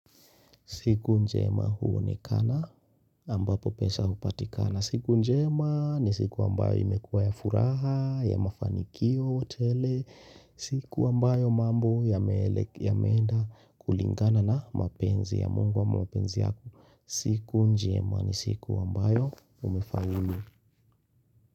Siku njema huonekana ambapo pesa hupatikana. Siku njema ni siku ambayo imekuwa ya furaha, ya mafanikio, tele. Siku ambayo mambo yameenda kulingana na mapenzi ya mungu wa mapenzi yako. Siku njema ni siku ambayo umefaulu.